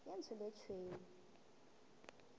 ye ntsho le ye tšhweu